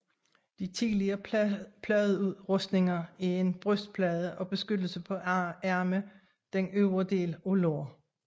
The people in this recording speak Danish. De tidlige pladerustninger er en brystplade og beskyttelse på arme den øvre del af lår